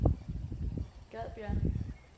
Gadbjerg